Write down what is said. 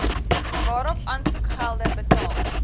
waarop aansoekgelde betaal